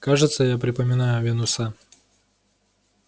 кажется я припоминаю венуса